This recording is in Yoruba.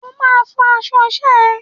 O máa fọ aṣọ iṣẹ́ ẹ!